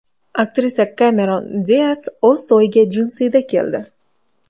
Aktrisa Kemeron Dias o‘z to‘yiga jinsida keldi.